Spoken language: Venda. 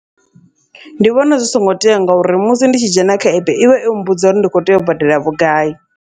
Ndi vhona zwi songo tea, ngauri musi ndi tshi dzhena kha epe ivha yo mmbudza uri ndi kho tea u badela vhugai.